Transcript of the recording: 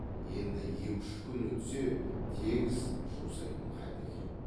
енді екі үш күн өтсе тегіс жусайтын халде екен